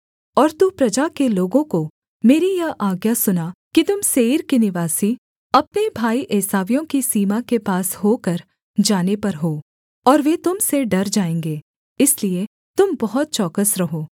और तू प्रजा के लोगों को मेरी यह आज्ञा सुना कि तुम सेईर के निवासी अपने भाई एसावियों की सीमा के पास होकर जाने पर हो और वे तुम से डर जाएँगे इसलिए तुम बहुत चौकस रहो